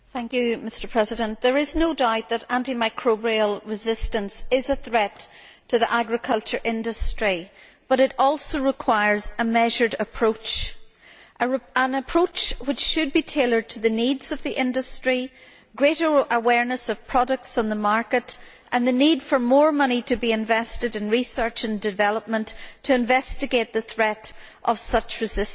Mr President, there is no doubt that anti microbial resistance is a threat to the agriculture industry, but it also requires a measured approach an approach which should be tailored to the needs of the industry, greater awareness of products on the market and the need for more money to be invested in research and development to investigate the threat of such resistance.